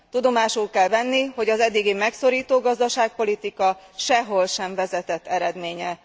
Tudomásul kell venni, hogy az eddigi megszorító gazdaságpolitika sehol sem vezetett eredményre.